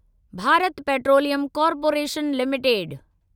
Bharat Petroleum Corporation limited